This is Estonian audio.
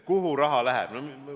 Kuhu raha läheb?